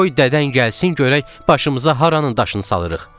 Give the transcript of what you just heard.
Qoy dədən gəlsin görək başımıza haranın daşını salırıq.